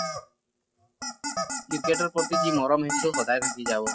ক্ৰিকেটৰ প্ৰতি যি মৰম সেইটো সদায় থাকি যাব ।